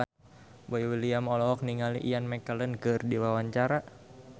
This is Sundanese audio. Boy William olohok ningali Ian McKellen keur diwawancara